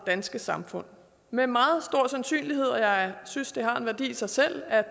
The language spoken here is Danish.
danske samfund med meget stor sandsynlighed og jeg synes det har en værdi i sig selv at